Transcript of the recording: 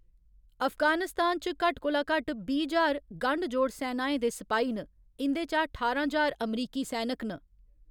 अफगानिस्तान च घट्ट कोला घट्ट बीह्‌ ज्हार गंढ जोड़ सैनाएं दे सपाही न, इं'दे चा ठारां ज्हार अमरीकी सैनक न।